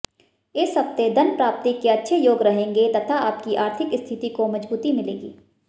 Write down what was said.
इस हफ्ते धन प्राप्ति के अच्छे योग रहेंगे तथा आपकी आर्थिक स्थिति को मजबूती मिलेगी